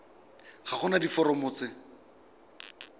ga go na diforomo tse